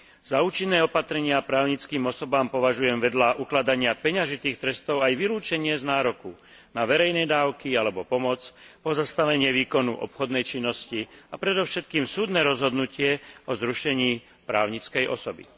Za účinné opatrenia voči právnickým osobám považujem, vedľa ukladania peňažných trestov, aj vylúčenie z nároku na verejné dávky alebo pomoc, pozastavenie výkonu obchodnej činnosti a predovšetkým súdne rozhodnutie o zrušení právnickej osoby.